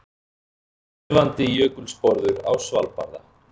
Kelfandi jökulsporður á Svalbarða.